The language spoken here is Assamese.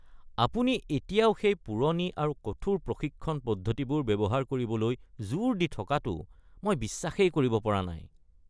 আপুনি এতিয়াও সেই পুৰণি আৰু কঠোৰ প্ৰশিক্ষণ পদ্ধতিবোৰ ব্যৱহাৰ কৰিবলৈ জোৰ দি থকাটো মই বিশ্বাসেই কৰিব পৰা নাই!